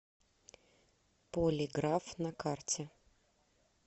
полиграф на карте